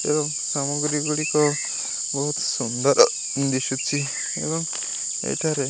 ଏବଂ କାମ ଗୁରି ଗୁଡିକ ବହୁତ ସୁନ୍ଦର ଦିଶୁଛି।